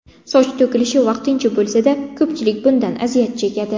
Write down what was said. Soch to‘kilishi vaqtincha bo‘lsa-da, ko‘pchilik bundan aziyat chekadi.